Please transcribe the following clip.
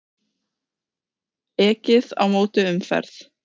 Ekið á móti umferð